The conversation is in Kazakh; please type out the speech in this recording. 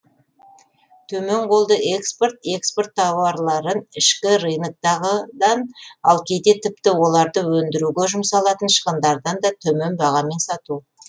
төмен қолды экспорт экспорт тауарларын ішкі рыноктағыдан ал кейде тіпті оларды өндіруге жұмсалатын шығындардан да төмен бағамен сату